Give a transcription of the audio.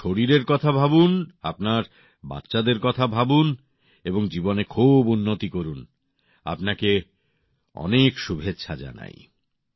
একটু শরীরের কথা ভাবুন আপনার বাচ্চাদের কথা ভাবুন এবং জীবনে খুব উন্নতি করুন আপনাকে অনেক শুভেচ্ছা জানাই